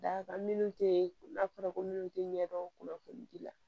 Dakan minnu tɛ ko n'a fɔra ko minnu tɛ ɲɛ dɔn kunnafoni ji la